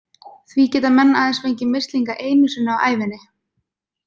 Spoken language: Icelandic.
Því geta menn aðeins fengið mislinga einu sinni á ævinni.